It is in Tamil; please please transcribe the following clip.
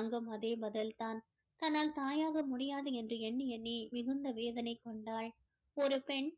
அங்கும் அதே பதில் தான் தன்னால் தாயாக முடியாது என்று எண்ணி எண்ணி மிகுந்த வேதனை கொண்டாள் ஒரு பெண்